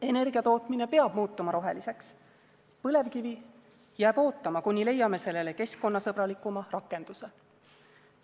Energiatootmine peab muutuma roheliseks, põlevkivi jääb ootama, kuni leiame sellele keskkonnasõbralikuma rakenduse.